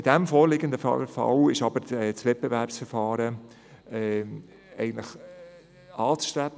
In diesem vorliegenden Fall ist ein Wettbewerbsverfahren anzustreben.